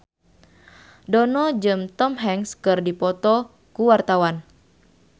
Dono jeung Tom Hanks keur dipoto ku wartawan